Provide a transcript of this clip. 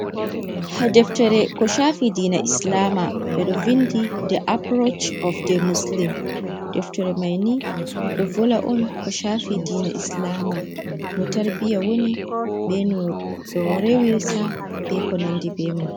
Ɗo deftere ko shaafi diina islama. Ɓe ɗo windi "the approach of the muslim". Deftere mai ni ɗo volwa on, ko shaafi diina islama. No tarbiyya woni, be no ɓe rewirta, be ko nandi be man.